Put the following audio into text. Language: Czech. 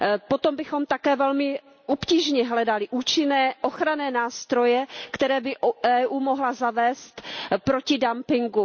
Potom bychom také velmi obtížně hledali účinné ochranné nástroje, které by EU mohla zavést proti dumpingu.